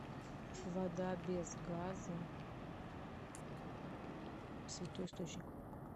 вода без газа святой источник